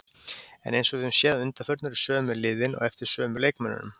En eins og við höfum séð að undanförnu eru sömu liðin á eftir sömu leikmönnunum.